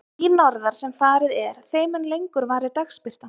Því norðar sem farið er, þeim mun lengur varir dagsbirtan.